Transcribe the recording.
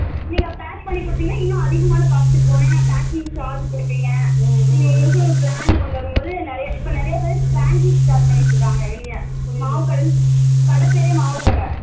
நீங்க pack பண்ணி குடுத்திங்கனா இன்னும் அதிகமான cost க்கு போகும் என்ன packing charge புடிப்பிங்க brand கொண்டுவரம்போது இப்ப நிறைய நிறைய பேர் franchise start பண்ணிட்டு இருக்காங்க இல்லையா மாவு கட கட பெயரே மாவுகட